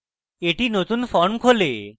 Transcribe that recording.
একটি নতুন form খোলে